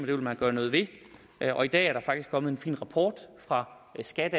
det vil man gøre noget ved og i dag er der faktisk kommet en fin rapport fra skat